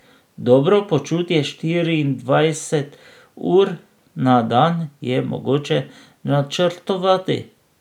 Dobro počutje štiriindvajset ur na dan je mogoče načrtovati.